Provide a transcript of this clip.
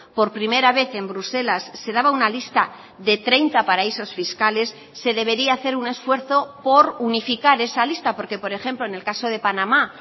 por primera vez en bruselas se daba una lista de treinta paraísos fiscales se debería hacer un esfuerzo por unificar esa lista porque por ejemplo en el caso de panamá